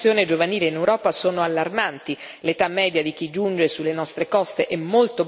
giovanile in Europa sono allarmanti l'età media di chi giunge sulle nostre coste è molto bassa.